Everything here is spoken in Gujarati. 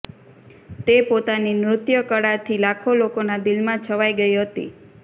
તે પોતાની નૃત્યકળાથી લાખો લોકોના દિલમાં છવાઇ ગઇ હતી